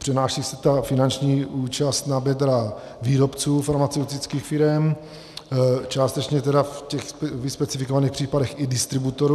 Přenáší se ta finanční účast na bedra výrobců farmaceutických firem, částečně tedy v těch vyspecifikovaných případech i distributorů.